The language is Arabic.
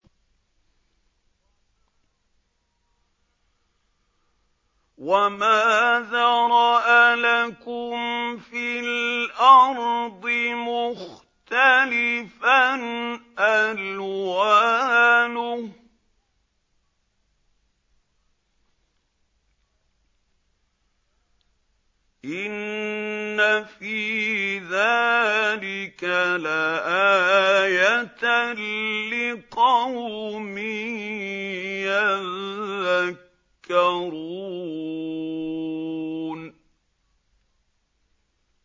وَمَا ذَرَأَ لَكُمْ فِي الْأَرْضِ مُخْتَلِفًا أَلْوَانُهُ ۗ إِنَّ فِي ذَٰلِكَ لَآيَةً لِّقَوْمٍ يَذَّكَّرُونَ